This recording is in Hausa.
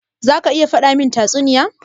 Za ka iya faɗa min tatsuniya?